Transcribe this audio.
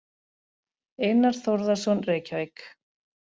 Einar Þórðarson, Reykjavík.